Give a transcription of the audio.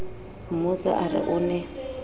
mmotsa a re o ne